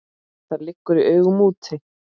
Það liggur í augum úti.